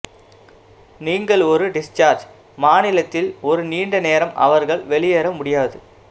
நீங்கள் ஒரு டிஸ்சார்ஜ் மாநிலத்தில் ஒரு நீண்ட நேரம் அவர்கள் வெளியேற முடியாது